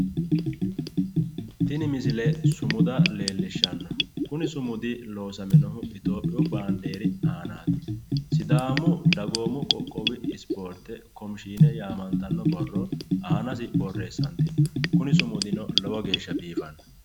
Tini sumuda leellishshanno. Kuni sumudi loosaminohu itophiyu baandiiri aanaati. Sidaamu dagoomu qooqqowi ispoorte komishiine yaamantanno borro aanasi borreessantino. Kuni sumudino lowo geeshsha biifanno.